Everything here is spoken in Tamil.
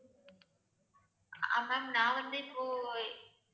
ஆஹ் ma'am நான் வந்து இப்போ